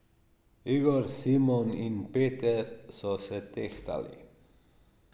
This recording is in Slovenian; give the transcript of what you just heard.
Igor, Simon in Peter so se tehtali.